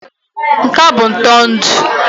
Nka bụ ụtọ ndụ.